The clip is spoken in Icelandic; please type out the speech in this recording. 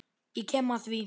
Ég kem að því.